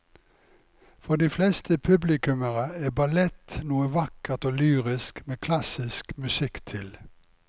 For de fleste publikummere er ballett noe vakkert og lyrisk med klassisk musikk til.